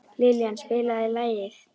Liljan, spilaðu lag.